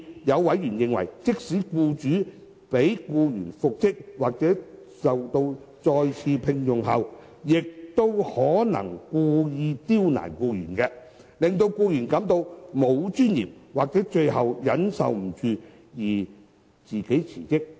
有委員甚至認為，即使僱主將僱員復職或再次聘用，亦可能故意刁難僱員，令僱員感到沒有尊嚴或最後忍受不住而自行辭職。